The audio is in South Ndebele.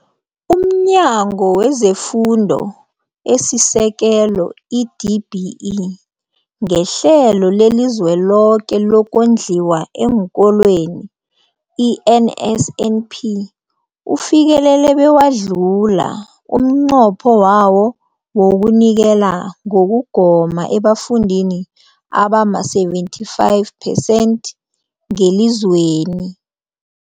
UmNyango wezeFundo esiSekelo, i-DBE, ngeHlelo leliZweloke lokoNdliwa eenKolweni, i-NSNP, ufikelele bewadlula umnqopho wawo wokunikela ngokugoma ebafundini abama-75 percent ngelizweni.